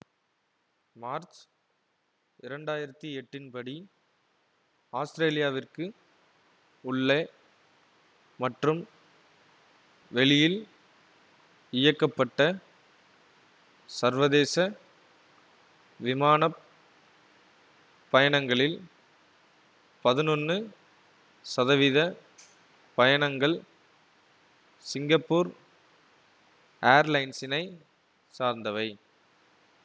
March இரண்டு ஆயிரத்தி எட்டின் படி ஆஸ்திரேலியாவிற்கு உள்ளே மற்றும் வெளியில் இயக்கப்பட்ட சர்வதேச விமான பயணங்களில் பதினொன்னு சதவித பயணங்கள் சிங்கப்பூர் ஏர்லைன்ஸினை சார்ந்தவை